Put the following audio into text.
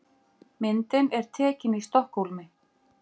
Myndin er tekin í Stokkhólmi.